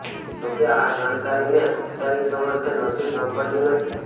જો કે આ જાણકારીને ઔપચારિક સમર્થન હજુ સાંપડયું નથી